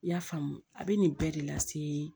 I y'a faamu a bɛ nin bɛɛ de lase